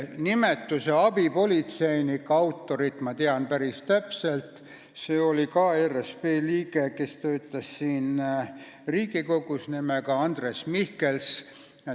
Nimetuse "abipolitseinik" autorit tean ma päris täpselt, see oli ka ERSP liige, kes töötas siin Riigikogus, nimega Andres Mihkels.